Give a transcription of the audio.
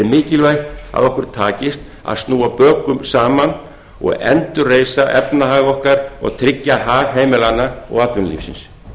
mikilvægt að okkur takist að snúa bökum saman og endurreisa efnahag okkar og tryggja hag heimilanna og atvinnulífsins